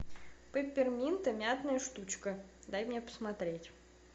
пепперминта мятная штучка дай мне посмотреть